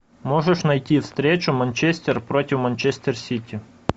можешь найти встречу манчестер против манчестер сити